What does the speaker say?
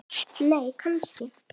nei kannski